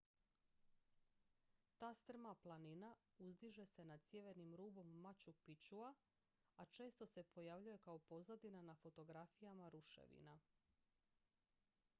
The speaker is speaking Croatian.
ta strma planina uzdiže se nad sjevernim rubom machu picchua a često se pojavljuje kao pozadina na fotografijama ruševina